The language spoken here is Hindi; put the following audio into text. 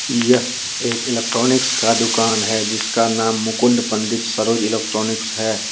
यह एक इलेक्ट्रॉनिक का दुकान है जिसका नाम मुकुंद पंडित सरोज इलेक्ट्रॉनिक्स है।